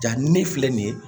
Jaa ni ne filɛ nin ye